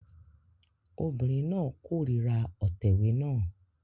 Obìnrin náà kórìíra òtẹ̀wé náà